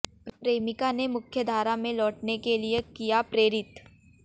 प्रेमिका ने मुख्यधारा में लौटने के लिए किया प्रेरित